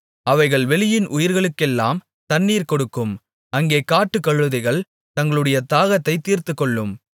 அவைகள் வெளியின் உயிர்களுக்கெல்லாம் தண்ணீர் கொடுக்கும் அங்கே காட்டுக்கழுதைகள் தங்களுடைய தாகத்தைத் தீர்த்துக்கொள்ளும்